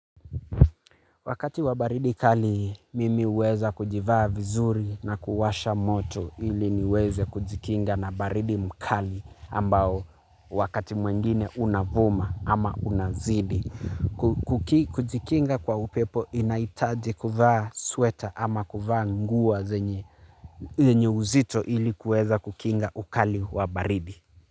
Wakati wa baridi kali, mimi huweza kujivaa vizuri na kuwasha moto ili niweze kujikinga na baridi mkali ambao wakati mwengine unavuma ama unazidi. Kujikinga kwa upepo inahitaji kuvaa sweta ama kuvaa nguo zenye uzito ili kuweza kukinga ukali wa baridi.